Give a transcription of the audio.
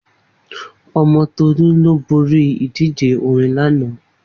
Omo Tolu lo gba idije orin lana